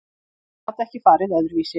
Þetta gat ekki farið öðruvísi.